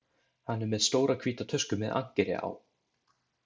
Hann er með stóra hvíta tösku með ankeri á.